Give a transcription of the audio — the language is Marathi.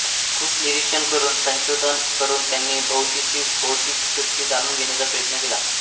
खूप निरीक्षण करून संघोधन करून त्यांनी भोवतीची भौतिक सृष्टी जाणून घेण्याचा प्रयत्न केला